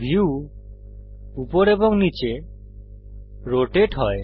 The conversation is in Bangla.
ভিউ উপর এবং নীচে রোটেট হয়